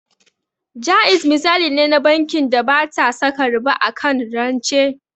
Jaiz misali ne na bankin da bata saka riba akan rance